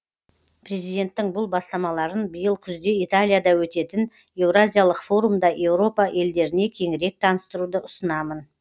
президенттің бұл бастамаларын биыл күзде италияда өтетін еуразиялық форумда еуропа елдеріне кеңірек таныстыруды ұсынамын